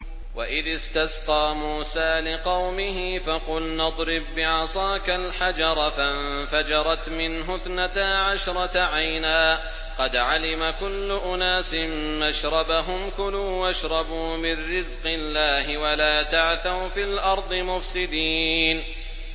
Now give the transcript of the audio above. ۞ وَإِذِ اسْتَسْقَىٰ مُوسَىٰ لِقَوْمِهِ فَقُلْنَا اضْرِب بِّعَصَاكَ الْحَجَرَ ۖ فَانفَجَرَتْ مِنْهُ اثْنَتَا عَشْرَةَ عَيْنًا ۖ قَدْ عَلِمَ كُلُّ أُنَاسٍ مَّشْرَبَهُمْ ۖ كُلُوا وَاشْرَبُوا مِن رِّزْقِ اللَّهِ وَلَا تَعْثَوْا فِي الْأَرْضِ مُفْسِدِينَ